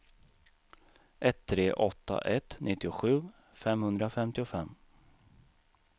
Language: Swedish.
ett tre åtta ett nittiosju femhundrafemtiofem